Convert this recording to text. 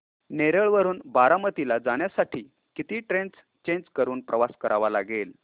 नेरळ वरून बारामती ला जाण्यासाठी किती ट्रेन्स चेंज करून प्रवास करावा लागेल